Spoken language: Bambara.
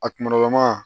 A kunkololama